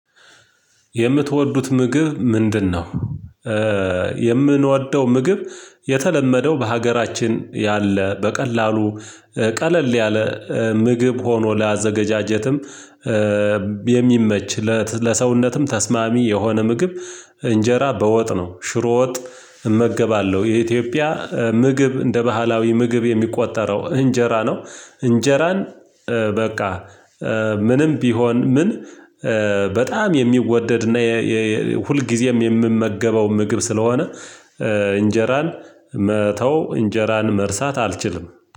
የምትወዱት ምግብ ምንድነው? የምንወደው ምግብ የተለመደው በሀገራችን ያለ በቀላሉ ቀለል ያለ ምግብ ሆኖ ላዘገጃጀትም የሚመች ለሰውነትም ተስማሚ የሆነ ምግብ እንጀራ በወጥ ነው ሽሮ ወጥ እመገባለሁ የኢትዮጵያ ምግብ እንደ ባህላዊ ምግብ የሚቆጠረው እንጀራ ነው እንጀራን በቃ ምንም ቢሆን ምን በጣም የሚወደድና ሁልጊዜም የምመገበው ምግብ ስለሆነ እንጀራን መተው እንጀራን መርሳት አልችልም